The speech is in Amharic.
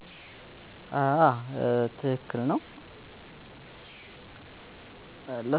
እሽ አመሰግናለሁ.